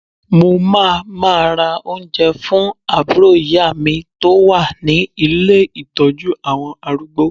Mo máa ma ra oúnjẹ fún àbúrò ìyá mi tó wà ní ilé Ìtọ́jú àwọn arúgbó.